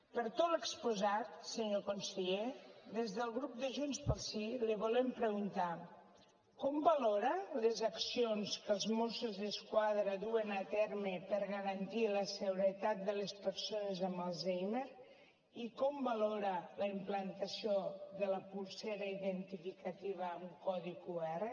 per tot l’exposat senyor conseller des del grup de junts pel sí li volem preguntar com valora les accions que els mossos d’esquadra duen a terme per garantir la seguretat de les persones amb alzheimer i com valora la implantació de la polsera identificativa amb codi qr